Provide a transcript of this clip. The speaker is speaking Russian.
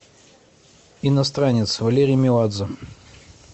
иностранец валерий меладзе